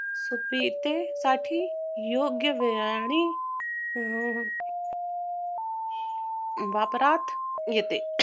सुप्रितेसाठी योग्य मिळणे अह वापरात येते